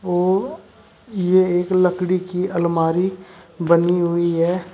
वो यह एक लकड़ी की अलमारी बनी हुई है।